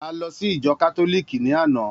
A lọ sí ìjọ Kátólíìkì ní àná